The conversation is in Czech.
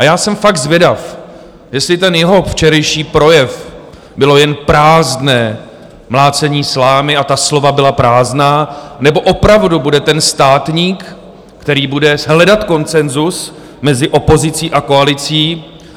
A já jsem fakt zvědav, jestli ten jeho včerejší projev bylo jen prázdné mlácení slámy a ta slova byla prázdná, nebo opravdu bude ten státník, který bude hledat konsenzus mezi opozicí a koalicí.